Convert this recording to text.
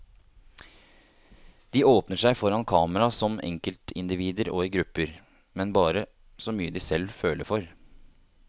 De åpner seg foran kamera som enkeltindivider og i grupper, men bare så mye de selv føler for.